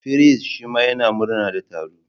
Firist shima yana murna da taro.